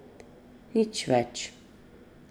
Nič več.